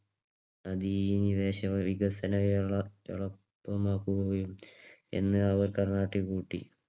അതീനി വേഷവികസന വേള എളുപ്പമാക്കുകയും എന്ന് അവർ കർണാട്ടിക് കൂട്ടി.